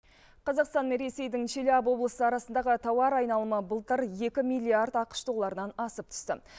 қазақстан мен ресейдің челябы облысы арасындағы тауар айналымы былтыр екі миллиард ақш долларынан асып түсті